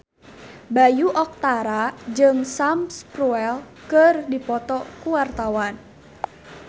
Bayu Octara jeung Sam Spruell keur dipoto ku wartawan